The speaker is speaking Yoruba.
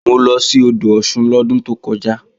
Mo lọ sí odò Ọ̀ṣun lọ́dún tó kọjá